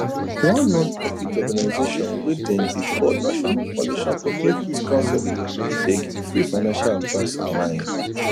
one non profit organization wey dem dey call national foundation for credit counseling dey give free financial advice online